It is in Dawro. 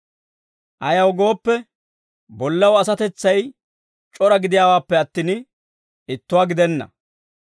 Ayaw gooppe, bollaw asatetsay c'ora gidiyaawaappe attin, ittuwaa gidenna.